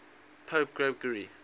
pope gregory